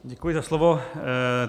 Děkuji za slovo.